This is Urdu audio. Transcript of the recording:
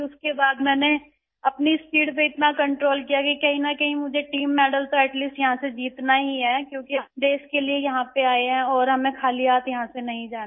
اس کے بعد میں نے اپنی رفتار پر اتنا قابو کیا کہ کہیں نہ کہیں تین میڈل تو یہاں سے جیتنا ہی ہے کیونکہ ہم ملک کے لیے ہم یہاں پر آئے ہیں اور ہمیں خالی ہاتھ نہیں جانا ہے